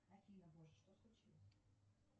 афина боже что случилось